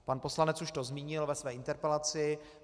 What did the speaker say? Pan poslanec už to zmínil ve své interpelaci.